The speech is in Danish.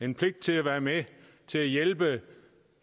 en pligt til at være med til at hjælpe